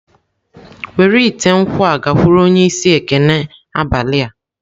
Were ite nkwu a gakwuru onye isi ekene abalị a.